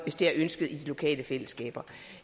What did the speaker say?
hvis det er ønsket i de lokale fællesskaber